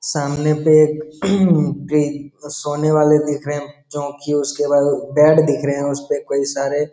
सामने पे एक सोने वाले दिख रहे चौकी उसके बाद बेड दिख रहे है उसपे कई सारे --